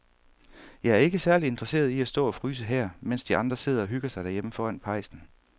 Jeg er ikke særlig interesseret i at stå og fryse her, mens de andre sidder og hygger sig derhjemme foran pejsen.